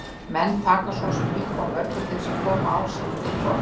Menn taka svo sem upp á mörgu til þess að koma ár sinni fyrir borð.